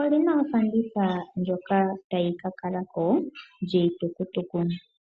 olina ofanditha ndjoka tayi ka kala ko yiitukutuku.